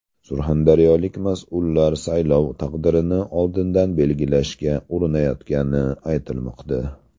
Surxondaryolik mas’ullar saylov taqdirini oldindan belgilashga urinayotgani aytilmoqda.